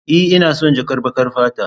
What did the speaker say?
E, ina son jakar baƙar fata.